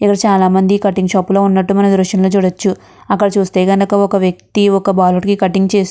ఇక్కడ చాలామంది cutting shop లో ఉన్నట్టు మనం దృశ్యంలో చూడవచ్చు అక్కడ చూస్తే కనక ఒక వ్యక్తి ఒక బాలుడికి కట్టింగ్ చేస్త్ --